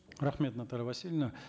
рахмет наталья васильевна